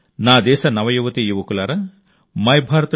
నా దేశ నవ యువతీ యువకులారా మైభారత్